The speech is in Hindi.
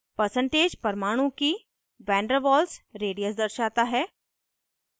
percentage परमाणु की vanderwaals radius दर्शाता है